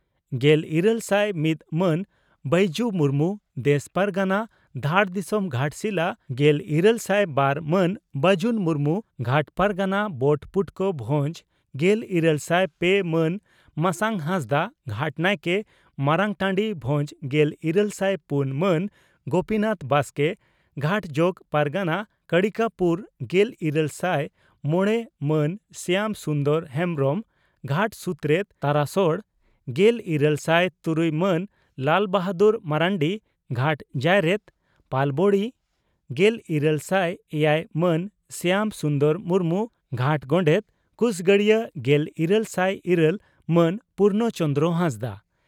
ᱜᱮᱞᱤᱨᱟᱹᱞ ᱥᱟᱭ ᱢᱤᱛ ᱢᱟᱱ ᱵᱟᱹᱭᱡᱩ ᱢᱩᱨᱢᱩ, ᱫᱮᱥ ᱯᱟᱨᱜᱟᱱᱟ, ᱫᱷᱟᱲ ᱫᱤᱥᱚᱢ, ᱜᱷᱟᱴᱥᱤᱞᱟ, ᱾ᱜᱮᱞᱤᱨᱟᱹᱞ ᱥᱟᱭ ᱵᱟᱨ ᱢᱟᱱ ᱵᱟᱹᱡᱩᱱ ᱢᱩᱨᱢᱩ, ᱜᱷᱟᱴ ᱯᱟᱨᱜᱟᱱᱟ, ᱵᱚᱴ ᱯᱩᱴᱠᱟᱹ ᱵᱷᱚᱡᱽ, ᱾ᱜᱮᱞᱤᱨᱟᱹᱞ ᱥᱟᱭ ᱯᱮ ᱢᱟᱱ ᱢᱟᱥᱟᱝ ᱦᱟᱸᱥᱫᱟᱜ, ᱜᱷᱟᱴ ᱱᱟᱭᱠᱮ, ᱢᱟᱨᱟᱝᱴᱟᱹᱰᱤ, ᱵᱷᱚᱸᱡᱽ, ᱾ᱜᱮᱞᱤᱨᱟᱹᱞ ᱥᱟᱭ ᱯᱩᱱ ᱢᱟᱱ ᱜᱚᱯᱤᱱᱟᱛᱷ ᱵᱟᱥᱠᱮ, ᱜᱷᱟᱴ ᱡᱚᱜᱚ ᱯᱟᱨᱜᱟᱱᱟ, ᱠᱟᱲᱤᱠᱟᱯᱩᱨ, ᱾ᱜᱮᱞᱤᱨᱟᱹᱞ ᱥᱟᱭ ᱢᱚᱲᱮ ᱢᱟᱱ ᱥᱭᱟᱢ ᱥᱩᱱᱫᱚᱨ ᱦᱮᱢᱵᱽᱨᱚᱢ, ᱜᱷᱟᱴ ᱥᱩᱛᱨᱮᱛ, ᱛᱟᱨᱟᱥᱚᱲ, ᱾ᱜᱮᱞᱤᱨᱟᱹᱞ ᱥᱟᱭ ᱛᱩᱨᱩᱭ ᱢᱟᱱ ᱞᱟᱞᱵᱟᱦᱟᱫᱩᱨ ᱢᱟᱨᱱᱰᱤ, ᱜᱷᱟᱴ ᱡᱟᱭᱨᱮᱛ, ᱯᱟᱞᱚᱵᱚᱬᱤ, ᱾ᱹᱜᱮᱞᱤᱨᱟᱹᱞ ᱥᱟᱭ ᱮᱭᱟᱭ ᱢᱟᱱ ᱥᱭᱟᱢ ᱥᱩᱱᱫᱚᱨ ᱢᱩᱨᱢᱩ, ᱜᱷᱟᱴ ᱜᱚᱰᱮᱛ, ᱠᱩᱥᱜᱟᱰᱤᱭᱟᱹ, ᱜᱮᱞᱤᱨᱟᱹᱞ ᱥᱟᱭ ᱤᱨᱟᱹᱞ ᱢᱟᱱ ᱯᱩᱨᱱᱚᱪᱚᱱᱫᱽᱨᱚ ᱦᱟᱸᱥᱫᱟᱜ